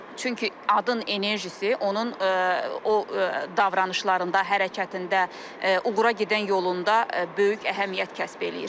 Çünki adın enerjisi onun o davranışlarında, hərəkətində, uğura gedən yolunda böyük əhəmiyyət kəsb eləyir.